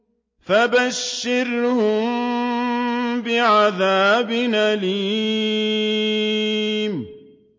فَبَشِّرْهُم بِعَذَابٍ أَلِيمٍ